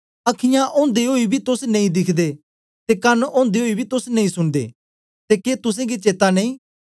अखीयाँ ओदे ओई के तोस नेई दिखदे ते कन ओदे ओई के तोस नेई सुनदे ते के तुसेंगी चेता नेई